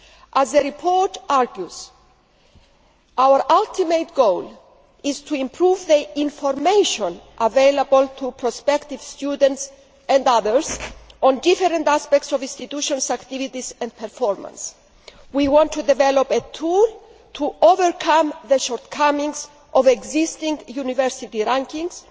As the report argues, our ultimate goal is to improve the information available to prospective students and others on various aspects of institutions' activities and performance. We want to develop a tool to overcome the shortcomings of existing university rankings